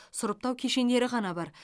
сұрыптау кешендері ғана бар